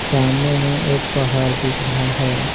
सामने में एक पहाड़ दिख रहा है।